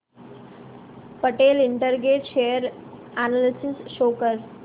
Patel integrate share analysis show कर